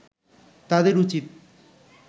তাদের উচিৎ